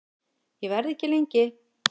Ég verð ekki lengi